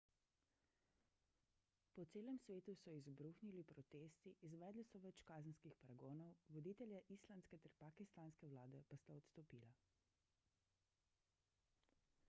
po celem svetu so izbruhnili protesti izvedli so več kazenskih pregonov voditelja islandske ter pakistanske vlade pa sta odstopila